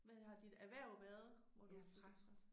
Hvad har dit erhverv været hvor du